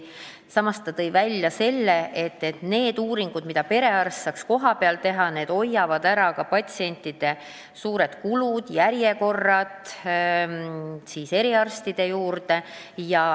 Samas tõi ta välja, et need uuringud, mida perearst saaks kohapeal teha, hoiavad ära ka patsientide suured kulutused ja järjekorrad eriarstide juurde.